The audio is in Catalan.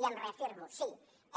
i em reafirmo sí